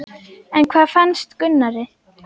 En hvað fannst Gunnari?